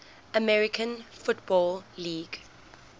american football league